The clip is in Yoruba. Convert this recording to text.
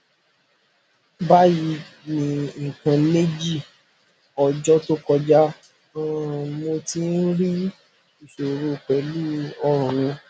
bayii ni nnkan meji ọjọ to kọjá um mo ti n ri iṣoro pẹlu ọrun mi